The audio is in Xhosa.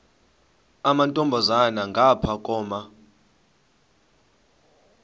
amantombazana ngapha koma